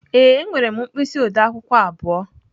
Ee, enwere m mkpịsị ode akwukwo abụọ.